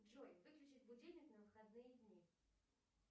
джой выключить будильник на выходные дни